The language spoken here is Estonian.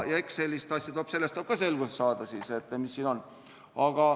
Eks selles tuleb ka selgust saada, mis siin on.